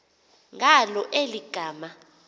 ngalo eli gama